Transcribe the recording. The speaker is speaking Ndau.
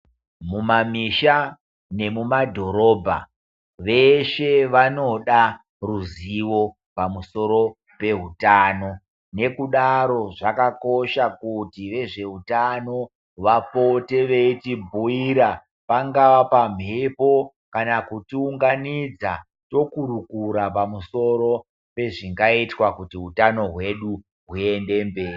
Mumamisha vemumadhorobha veshe vanoda ruzivo pamusoro peutano ngokudaro zvakakosha kuti vezveutano vapote veyibhuyira pangava pamwepo kana kuti unganidza tokurukura pamusoro pezvingaitwa kuti utano hwedu huyende mberi.